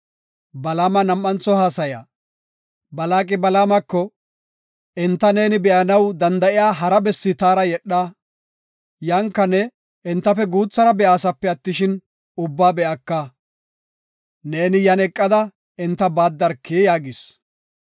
Balaaqi Balaamako, “Enta neeni be7anaw danda7iya hara bessi taara yedha; yanka ne entafe guuthara be7aasape attishin, ubbaa be7aka. Neeni yan eqada enta baaddarki” yaagis.